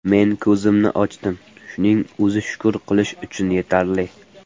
Men ko‘zimni ochdim, shuning o‘zi shukur qilish uchun yetarli.